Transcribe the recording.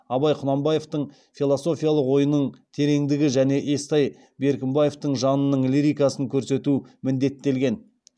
абай құнанбаевтың философиялық ойының тереңдігі және естай беркімбаевтың жанының лирикасын көрсету міндеттелген